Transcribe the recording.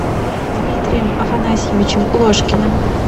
дмитрием афанасьевичем ложкиным